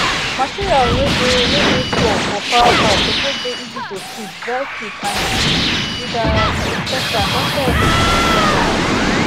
materials wey dey wey dey floor for fowl house suppose dey easy to sweep dry quick and clean with um disinfectant after every production round